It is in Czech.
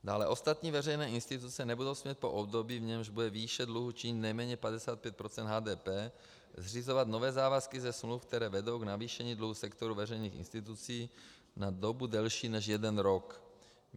Dále ostatní veřejné instituce nebudou smět po období, v němž bude výše dluhů činit nejméně 55 % HDP, zřizovat nové závazky ze smluv, které vedou k navýšení dluhu sektoru veřejných institucí na dobu delší než jeden rok.